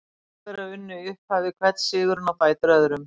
Þjóðverjar unnu í upphafi hvern sigurinn á fætur öðrum.